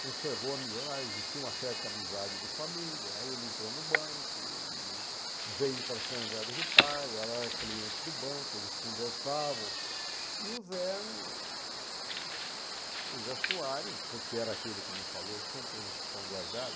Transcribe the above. conservou a amizade, existia uma certa amizade de família, aí ele entrou no banco, veio e para São José do Pardo, ela era cliente do banco, eles conversavam, e o Zé... Zé Soares, que era aquele que me falou, você não tem um tostão guardado?